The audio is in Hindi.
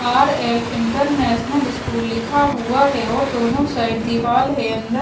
आर एल इंटरनेशनल स्कूल लिखा हुआ है और दोनों साइड दीवाल है अंदर--